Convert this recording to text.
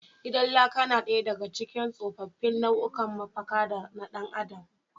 Gidan laka na daya daga cikin tsofaffin nau’ikan mafakar dan adam.